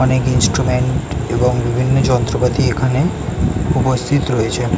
অনেক ইন্সট্রুমেন্ট এবং বিভিন্ন যন্ত্রপাতি এখানে উপস্থিত রয়েছে।